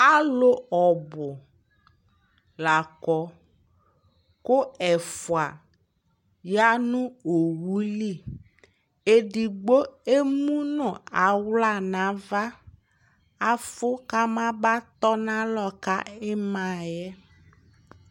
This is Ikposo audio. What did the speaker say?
alʋ ɔbʋ lakɔ kʋ ɛƒʋa yanʋ ɔwʋli, ɛdigbɔ ɛmʋnʋ ala nʋ aɣa, aƒʋ kʋ ama ba tɔnʋ alɔ ka imaɛ